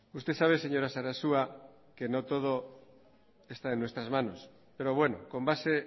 usted sabe señora sarasua que no todo está en nuestras manos pero bueno con base